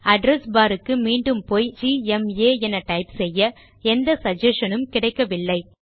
address bar க்கு மீண்டும் போய் ஜிஎம்ஏ என டைப் செய்ய எந்த சகஸ்ஷன் உம் கிடைக்கவில்லை